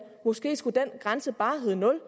måske skulle den grænse bare hedde nul